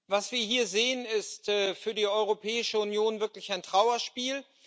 Was wir hier sehen, ist für die Europäische Union wirklich ein Trauerspiel.